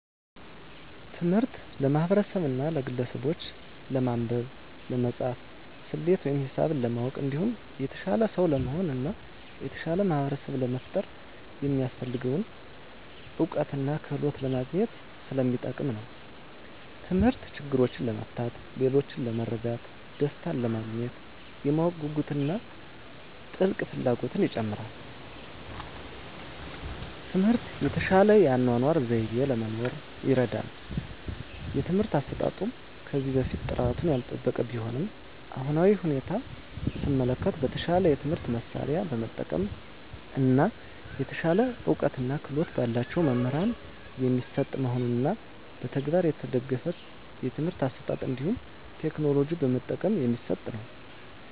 ትምህርት ለማህበርሰቡና ለግለሰቡች ለማንበብ፣ ለመፃፍና፣ ሰሌት ወይም ሂሳብ ለማወቅ እንዲሁም የተሻለ ሰው ለመሆን እና የተሻለ ማህበርሰብ ለመፍጠር የሚያሰፍልገውን እውቀትና ክህሎት ለማግኝት ሰለሚጠቅም ነው። ተምህርት ችግሮችን ለመፍታት፣ ሌሎችን ለመርዳት፣ ደሰታንለማግኘት፣ የማወቅ ጉጉትን እና ጥልቅ ፍላጎትን ይጨምራል። ትምህርት የተሻለ የአኗኗር ዘይቤ ለመኖር ይርዳል። የትምህርት አሰጣጡም ከዚህ በፊት ጥራቱን ያልጠበቀ ቢሆንም በአሁናዊ ሁኔታ ሰመለከት በተሻለ የትምህርት መሳርያ በመጠቀም እና የተሻለ እውቀትና ክህሎት በላቸው መምህራን የሚሰጥ መሆኑንና በተግባር የተደገፍ የትምህርት አሰጣጥ እንዲሁም ቴክኖሎጂ በመጠቀም የሚሰጥ ነው።